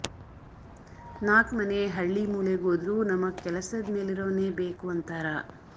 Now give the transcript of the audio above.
ನಾಕ್ ಮನೆ ಹಳ್ಳೀ ಮೂಲೆಗೋದ್ರೂ ನಮಗ್ ಕೆಲಸದ್ ಮೆಲಿರವ್ನೇ ಬೇಕು ಅಂತಾರ